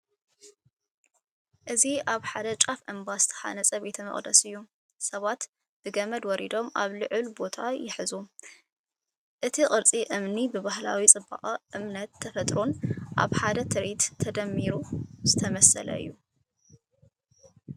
እዚ ኣብ ጫፍ እምባ ዝተሃንጸ ቤተ መቕደስ እዩ። ሰባት ብገመድ ወሪዶም ኣብ ልዑል ቦታ ይሕዙ። እቲ ቅርጺ እምኒ ብባህላዊ ጽባቐ፡ እምነትን ተፈጥሮን ኣብ ሓደ ትርኢት ተደሚሩ ዝተሰለመ እዩ።